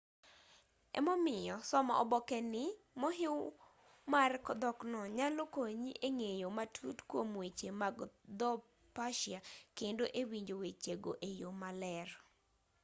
emomiyo somo oboke ni mohiw mar dhokno nyalo konyi e ng'eyo matut kuom weche mag dho persia kendo e winjo weche go e yo maler